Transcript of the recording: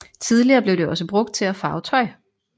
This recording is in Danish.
Tidligere blev det også brugt til at farve tøj